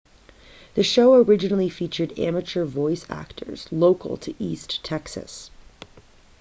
the show originally featured amateur voice actors local to east texas